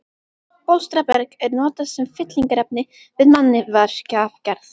Bólstraberg er notað sem fyllingarefni við mannvirkjagerð.